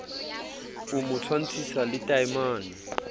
o mo tshwantshisa le taemane